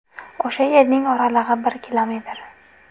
O‘sha yerning oralig‘i bir kilometr.